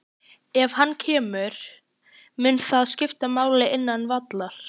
Ef hann kemur, mun það skipta máli innan vallar?